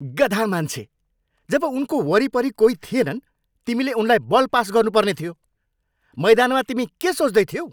गधा मान्छे। जब उनको वरिपरि कोही थिएनन्, तिमीले उनलाई बल पास गर्नु पर्ने थियो। मैदानमा तिमी के सोच्दै थियौ?